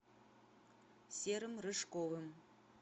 серым рыжковым